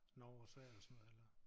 Norge og Sverige og sådan noget eller